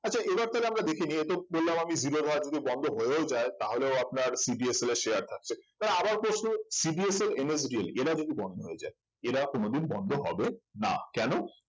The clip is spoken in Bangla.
আচ্ছা এবার তাহলে আমরা দেখে নিই ওই তো বললাম আমি জিরোধা যদি বন্ধ হয়েও যায় তাহলেও আপনার CDSL এ share থাকছে তাহলে আবার প্রশ্ন হচ্ছে CDSL, NSDL এরা যদি বন্ধ হয়ে যায় এরা কোনদিন বন্ধ হবে না কেন